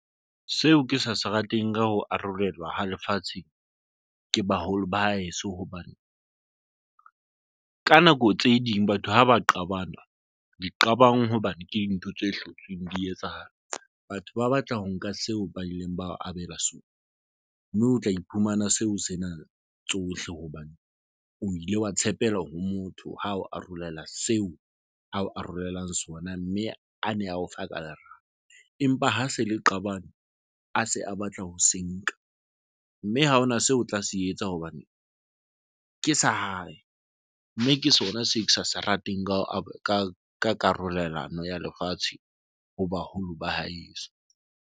Seo ke sa se rateng ka ho arolelwa ha lefatshe ke baholo ba haeso, hobane ka nako tse ding batho ha ba qabana di qabang hobane ke dintho tse hlotseng, di etsahala. Batho ba batla ho nka seo ba ileng ba abela sona ng mme o tla iphumana seo se nang tsohle hobane o ile wa tshepela ho motho ha o arolela seo ao arolelang sona. Mme a ne a o fa ka lerato empa ha se le qabane, a se a a batla ho se nka mme ha hona seo o tla se etsa hobane ke sa hae mme ke sona se ke sa se rateng. Ka hoo, a ka ka karolelano ya lefatshe ho baholo ba haeso.